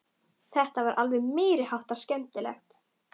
Þetta var alveg meiri háttar skemmtilegt!